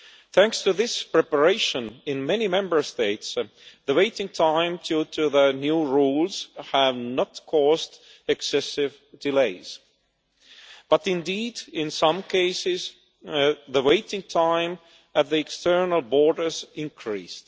Thanks to this preparation, in many Member States the waiting time due to the new rules has not caused excessive delays, but indeed, in some cases, the waiting time at the external borders has increased.